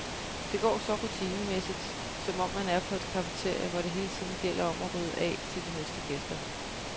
Det går så rutinemæssigt, som om man er på et cafeteria, hvor det hele tiden gælder om at rydde af til de næste gæster.